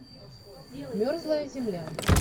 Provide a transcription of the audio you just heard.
мерзлая земля